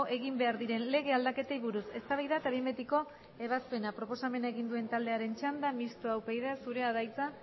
egin behar diren lege aldaketei buruz eztabaida eta behin betiko ebazpena proposamena egin duen taldearen txanda mistoa upyd zurea da hitza